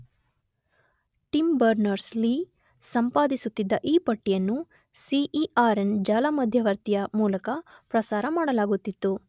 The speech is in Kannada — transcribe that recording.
ಟಿಮ್ ಬರ್ನರ್ಸ್, ಲೀ ಸಂಪಾದಿಸುತ್ತಿದ್ದ ಈ ಪಟ್ಟಿಯನ್ನು ಸಿಇಆರೆನ್ ಜಾಲಮಧ್ಯವರ್ತಿಯ ಮೂಲಕ ಪ್ರಸಾರ ಮಾಡಲಾಗುತ್ತಿತ್ತು.